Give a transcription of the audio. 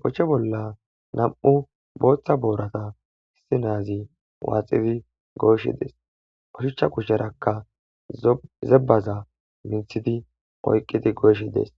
bochche bolla nam7u booththa boorata issi naazi waaxidi gooshshi dees oshuchcha kusherakka zebbaza minthidi oyqqidi gooshi dees